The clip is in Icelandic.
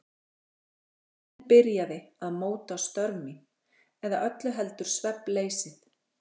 Svefninn byrjaði að móta störf mín- eða öllu heldur svefnleysið.